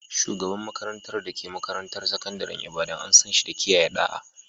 Shugaban makarantar da ke makarantar sakandaren Ibadan, an san shi da kiyaye ɗa'a.